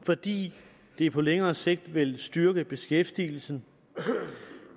fordi det på længere sigt vil styrke beskæftigelsen